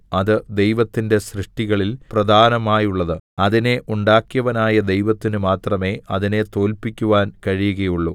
അത് ദൈവത്തിന്റെ സൃഷ്ടികളിൽ പ്രധാനമായുള്ളത് അതിനെ ഉണ്ടാക്കിയവനായ ദൈവത്തിനു മാത്രമേ അതിനെ തോൽപ്പിക്കുവാൻ കഴിയുകയുള്ളൂ